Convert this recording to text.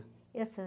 Eu sou.